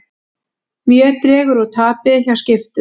Mjög dregur úr tapi hjá Skiptum